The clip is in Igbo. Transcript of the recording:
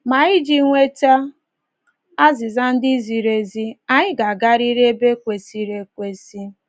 Ma iji nweta azịza ndị ziri ezi, anyị ga-agarịrị ebe kwesịrị ekwesị.